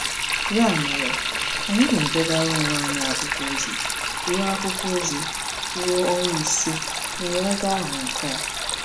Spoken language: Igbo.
Ya mere, anyị na-edegara onwe anyị akwụkwọ ozi ruo akwụkwọ ozi ruo ọnwa ise, m wee gaa Họn Kọn.